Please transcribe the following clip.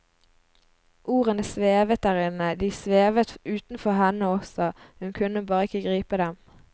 Ordene svevet der inne, de svevet utenfor henne også, hun kunne bare ikke gripe dem.